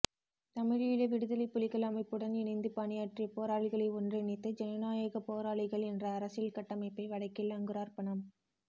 தமிழீழ விடுதலைப் புலிகள் அமைப்புடன் இணைந்து பணியாற்றிய போராளிகளை ஒன்றிணைத்து ஜனநாயகப் போராளிகள் என்ற அரசியல் கட்டமைப்பை வடக்கில் அங்குரார்ப்பணம்